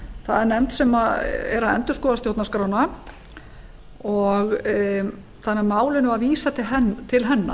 það er nefnd sem er að endurskoða stjórnarskrána þannig að málinu var vísað til hennar